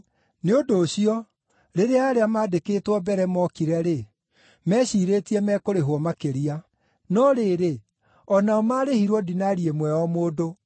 Nĩ ũndũ ũcio, rĩrĩa arĩa maandĩkĩtwo mbere mookire-rĩ, meeciirĩtie mekũrĩhwo makĩria. No rĩrĩ, o nao maarĩhirwo dinari ĩmwe o mũndũ.